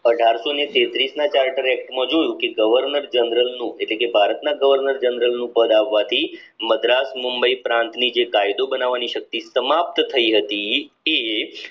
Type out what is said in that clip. અઢારસો તેત્રીસ ના charter act માં જોયું કે governor general નું એટલે કે ભારત ના governor general નું પદ આવવાથી મદ્રાસ મુંબઈ પ્રાંત ની જે કાયદો બનાવની શક્તિ સમાપ્ત થઇ હતી એ